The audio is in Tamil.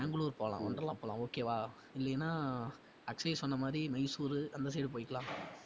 பெங்களூர் போலாம் ஒன்டர்லா போலாம் okay வா? இல்லைனா அக்ஷ்ய் சொன்ன மாதிரி மைசூரு அந்த side போயிக்கலாம்